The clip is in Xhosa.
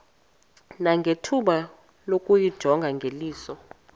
nangethuba lokuyijonga ngeliso